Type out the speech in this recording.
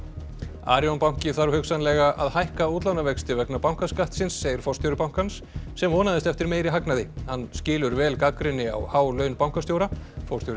Arion banki þarf hugsanlega að hækka útlánavexti vegna bankaskattsins segir forstjóri bankans sem vonaðist eftir meiri hagnaði hann skilur vel gagnrýni á há laun bankastjóra forstjóri